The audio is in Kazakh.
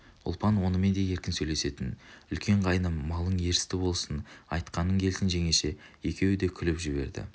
ұлпан онымен де еркін сөйлесетін үлкен қайным малың ерісті болсын айтқаның келсін жеңеше екеуі де күліп жіберді